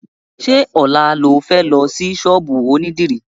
Ṣé ọ̀la lo fẹ́ lọ sí ṣọ́ọ̀bù onídìrí?